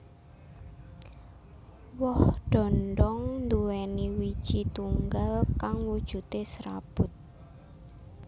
Woh dhondhong nduwèni wiiji tunggal kang wujudé serabut